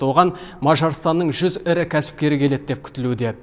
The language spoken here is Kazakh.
оған мажарстанның жүз ірі кәсіпкері келеді деп күтілуде